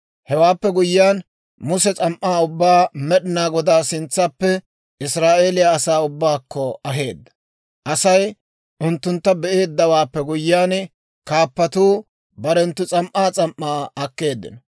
Hewaappe guyyiyaan, Muse s'am"aa ubbaa Med'inaa Godaa sintsaappe Israa'eeliyaa asaa ubbaakko aheedda. Asay unttuntta be'eeddawaappe guyyiyaan, kaappatuu barenttu s'am"aa s'am"aa akkeeddino.